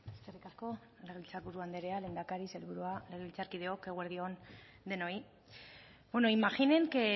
eskerrik asko legebiltzarburu andrea lehendakari sailburua legebiltzarkideok eguerdi on denoi bueno imaginen que